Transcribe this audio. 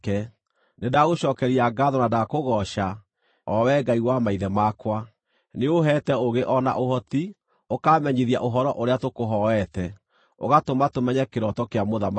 Nĩndagũcookeria ngaatho na ndakũgooca, o Wee Ngai wa maithe makwa: Nĩũũheete ũũgĩ o na ũhoti, ũkaamenyithia ũhoro ũrĩa tũkũhooete, ũgatũma tũmenye kĩroto kĩa mũthamaki.”